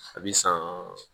A bi san